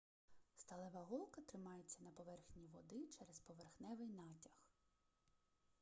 сталева голка тримається на поверхні води через поверхневий натяг